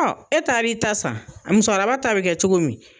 E taar'i ta san, musokɔrɔba ta bɛ kɛ cogo min?